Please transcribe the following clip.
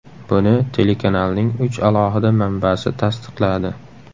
Buni telekanalning uch alohida manbasi tasdiqladi.